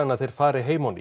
að þeir fari heim á ný